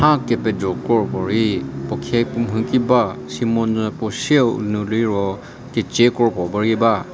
nhya kepejo kro puo rei puo khe puo mhu ki ba shimonyü puo sheiu nu liro kecie kro puo rei ba.